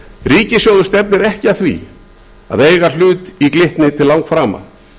ríkissjóður stefnir ekki að því að eiga hlut í glitni til langframa